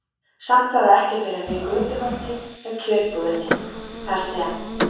Samt var það ekki fyrr en við götuhornið hjá kjötbúðinni, þar sem